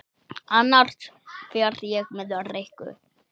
Annars fer ég með Rikku